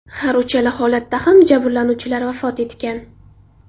Har uchala holatda ham jabrlanuvchilar vafot etgan.